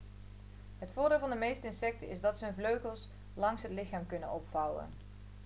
het voordeel van de meeste insecten is dat ze hun vleugels langs het lichaam kunnen opvouwen